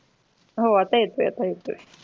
हो आता येतो येतो